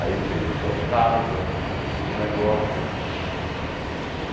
Aí fez as suas casas, fez seus negócios.